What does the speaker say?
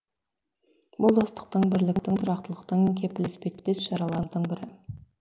бұл достықтың бірліктің тұрақтылықтың кепілі іспеттес шаралардың бірі